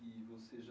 e você já.